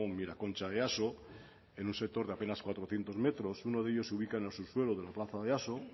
miraconcha easo en un sector de apenas cuatrocientos metros uno de ellos se ubica en el subsuelo de la plaza easo